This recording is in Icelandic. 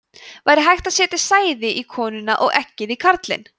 væri hægt að setja sæði í konuna og eggið í karlinn